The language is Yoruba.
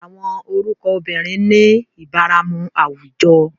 Awọn orukọ obirin ni ibaramu awujọ